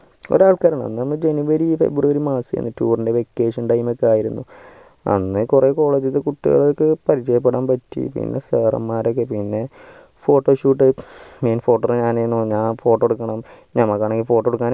കൊറേ ആൾകാർ പറഞ്ഞു ഒന്നാമത് januvaryfebruarymarchtour vacation time ഒക്കെ ആയിരുന്നു അങ്ങനെ കൊറേ college ഒക്കെ പരിചയപ്പെടാൻ പറ്റി പിന്നെ sir മാരൊക്കെ പിന്നെ photoshootmain photoghrapher ഞാൻ ആയിരുന്നു ഞാൻ photo എടുക്കണം നമ്മ തന്നെ photo എടുക്കാൻ